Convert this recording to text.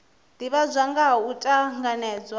divhadzwa nga ha u tanganedzwa